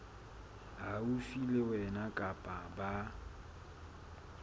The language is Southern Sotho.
haufi le wena kapa ba